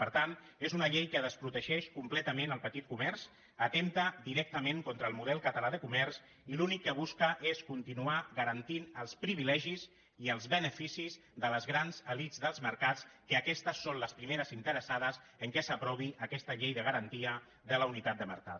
per tant és una llei que desprotegeix completament el petit comerç atempta directament contra el model català de comerç i l’únic que busca és continuar garantint els privilegis i els beneficis de les grans elits dels mercats que aquestes són les primeres interessades que s’aprovi aquesta llei de garantia de la unitat de mercat